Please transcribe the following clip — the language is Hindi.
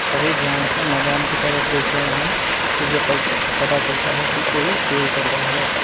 सभी ध्यान से मैदान की तरफ देख रहे हैं जैसे पत पता चलता है की कोई खेल चल रहा है।